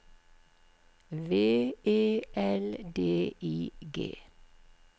V E L D I G